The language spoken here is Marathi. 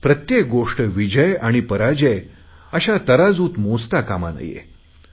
प्रत्येक गोष्ट विजय आणि पराजय अशा तराजूत मोजता कामा नये